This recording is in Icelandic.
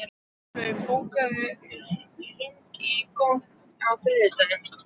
Gunnlaug, bókaðu hring í golf á þriðjudaginn.